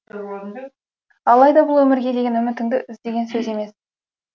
алайда бұл өмірге деген үмітіңді үз деген сөз емес